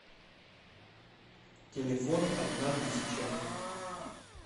телефон одна тысяча